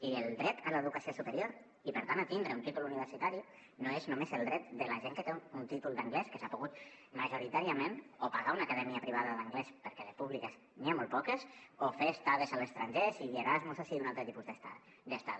i el dret a l’educació superior i per tant a tindre un títol universitari no és només el dret de la gent que té un títol d’anglès que s’ha pogut majoritàriament o pagar una acadèmia privada d’anglès perquè de públiques n’hi ha molt poques o fer estades a l’estranger sigui erasmus o sigui un altre tipus d’estada